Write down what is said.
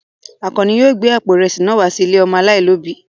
Àkànní yóò gbé àpò ìrẹsì náà wá sí ilé ọmọ aláìlóòbí.